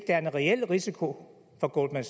er en reel risiko for goldman